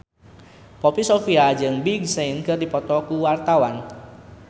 Poppy Sovia jeung Big Sean keur dipoto ku wartawan